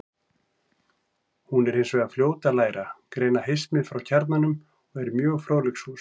Hún er hins vegar fljót að læra, greina hismið frá kjarnanum og er mjög fróðleiksfús.